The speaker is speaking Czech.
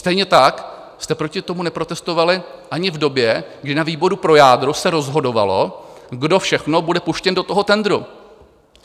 Stejně tak jste proti tomu neprotestovali ani v době, kdy na výboru pro jádro se rozhodovalo, kdo všechno bude puštěn do toho tendru.